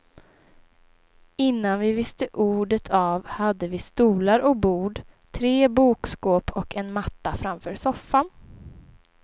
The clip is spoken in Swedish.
Innan vi visste ordet av hade vi stolar och bord, tre bokskåp och en matta framför soffan.